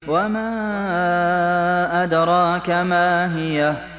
وَمَا أَدْرَاكَ مَا هِيَهْ